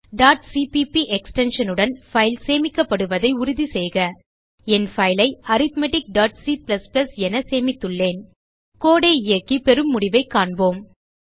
cpp extension உடன் file சேமிக்கப்படுவதை உறுதிசெய்க என் பைல் ஐ arithmeticசிபிபி என சேமித்துள்ளேன் கோடு ஐ இயக்கி பெறும் முடிவைக் காண்போம்